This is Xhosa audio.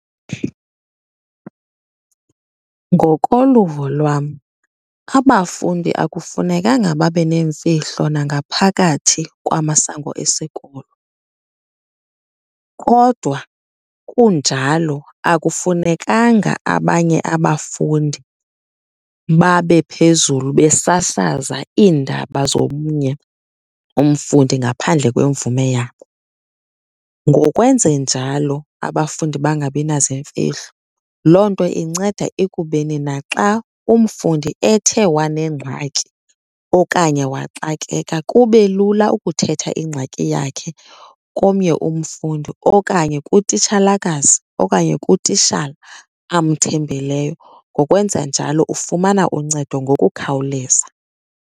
Ngokoluvo lwam abafundi akufunekanga babe neemfihlo nangaphakathi kwamasango esikolo kodwa kunjalo, akufunekanga abanye abafundi babe phezulu besasaza iindaba zomnye umfundi ngaphandle kwemvume yabo. Ngokwenze njalo abafundi bangabi naziimfihlo, loo nto inceda ekubeni naxa umfundi ethe wanengxaki okanye waxakeka kube lula ukuthetha ingxaki yakhe komnye umfundi okanye kutitshalakazi okanye kutitshala amthembileyo. Ngokwenza njalo ufumana uncedo ngokukhawuleza.